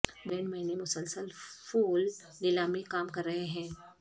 Holland میں نے مسلسل پھول نیلامی کام کر رہے ہیں